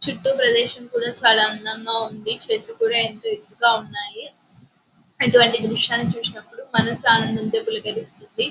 చుట్టూ ప్రదేశం కూడా చాల అందంగా ఉంది చెట్లు కూడా ఏంటో ఎత్తుగా ఉన్నాయ్ ఇటు వంటి దృశ్యాల్ని చూసినప్పుడు మనసు ఏంటో అనడంతో పులకరిస్తుంది--